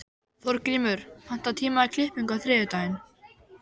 Þórgrímur, pantaðu tíma í klippingu á þriðjudaginn.